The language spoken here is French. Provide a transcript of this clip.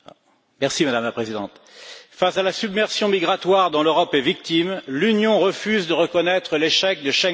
Madame la Présidente, face à la submersion migratoire dont l'Europe est victime, l'Union refuse de reconnaître l'échec de Schengen.